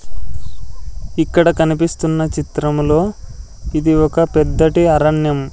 ఇక్కడ కనిపిస్తున్న చిత్రములో ఇది ఒక పెద్దది అరణ్యం.